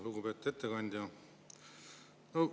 Lugupeetud ettekandja!